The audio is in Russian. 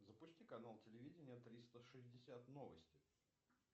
запусти канал телевидения триста шестьдесят новости